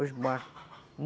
Os barcos.